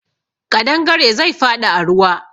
Kaɗangare zai faɗi a ruwa.